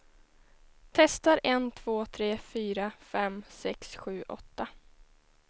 Testar en två tre fyra fem sex sju åtta.